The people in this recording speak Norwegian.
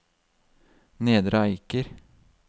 Nedre Eiker